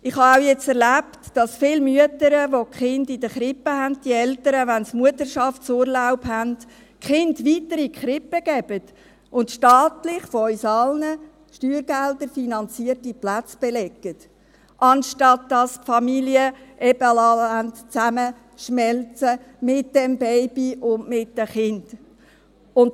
Ich habe auch erlebt, dass viele Mütter, welche die älteren Kinder in der Krippe haben, die Kinder weiterhin in die Krippe geben, wenn sie Mutterschaftsurlaub haben, und staatlich finanzierte, beziehungsweise von uns allen steuergeldfinanzierte Plätze belegen, anstatt dass sie die Familie zusammenschmelzen lassen, mit dem Baby und mit den Kindern.